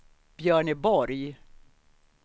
Björneborg